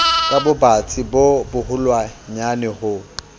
ka bobatsi bo boholwanyane ho